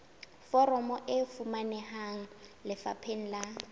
foromo e fumaneha lefapheng la